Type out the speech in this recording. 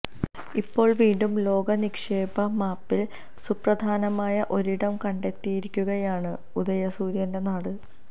ഇപ്പോൾ വീണ്ടും ലോക നിക്ഷേപ മാപ്പിൽ സുപ്രധാനമായ ഒരിടം കണ്ടെത്തിയിരിക്കുകയാണ് ഉദയസൂര്യന്റെ നാട്